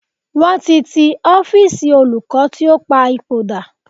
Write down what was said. Wọ́n ti ti ọ́fíísì olùkọ́ tí ó pa ipò dà.